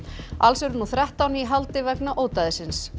alls er nú þrettán í haldi vegna